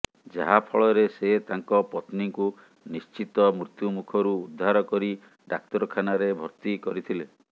ଯାହା ଫଳରେ ସେ ତାଙ୍କ ପତ୍ନୀକୁ ନିଶ୍ଚିତ ମୃତ୍ୟୁମୁଖରୁ ଉଦ୍ଧାର କରି ଡାକ୍ତରଖାନାରେ ଭର୍ତ୍ତି କରିଥିଲେ